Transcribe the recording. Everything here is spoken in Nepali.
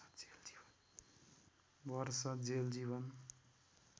वर्ष जेल जीवन